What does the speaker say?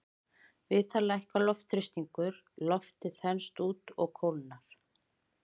Við það lækkar loftþrýstingur, loftið þenst út og kólnar.